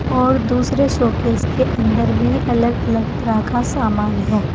और दूसरे शोकेस के अंदर भी अलग अलग तरह का समान है।